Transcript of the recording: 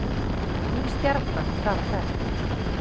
Ný stjarna þar á ferð